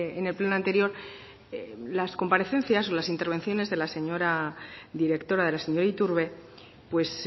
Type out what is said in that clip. en el pleno anterior pero las comparecencias o las intervenciones de la señora directora de la señora iturbe pues